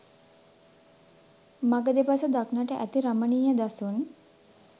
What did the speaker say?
මඟ දෙපස දක්නට ඇති රමණීය දසුන්